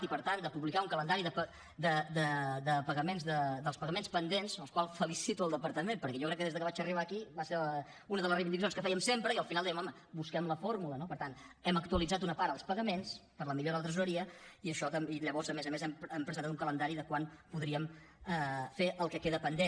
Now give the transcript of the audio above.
i per tant de publicar un calendari dels pagaments pendents per la qual cosa felicito el departament perquè jo crec que des de que vaig arribar aquí va ser una de les reivindicacions que fèiem sempre i al final dèiem home busquem la fórmula no per tant hem actualitzat una part dels pagaments per la millora de la tresoreria i llavors a més a més hem presentat un calendari de quan podríem fer el que queda pendent